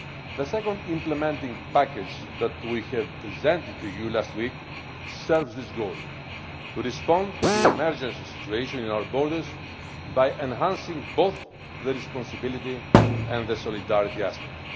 The second implementing package that we presented to you last week serves this goal to respond to the emergency situation in our borders by enhancing both the responsibility and the solidarity aspects.